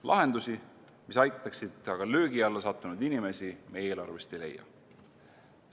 Lahendusi, mis aitaksid aga löögi alla sattunud inimesi, meie eelarvest ei leia.